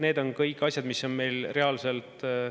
Need on kõik asjad, mis on meil reaalselt ….